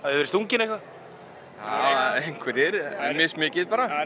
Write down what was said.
verið stungin eitthvað já einhverjir mis mikið bara